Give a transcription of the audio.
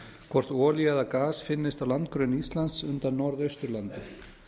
hvort olía eða gas finnist á landgrunni ísland undan norðausturlandi